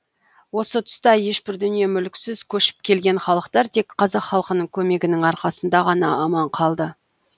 осы тұста ешбір дүние мүліксіз көшіп келген халықтар тек қазақ халқының көмегінің арқасында ғана аман қалды